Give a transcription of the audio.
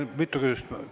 Ei, mitu küsimust ei ole.